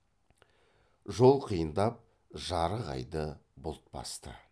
жол қиындап жарық айды бұлт басты